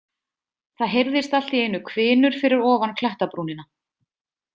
Það heyrðist allt í einu hvinur fyrir ofan klettabrúnina.